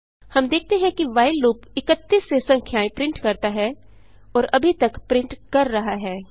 हम देखते हैं कि व्हाइल लूप 31 से संख्याएँ प्रिंट करता है और अभी तक प्रिंट कर रहा है